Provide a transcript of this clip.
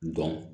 Dɔn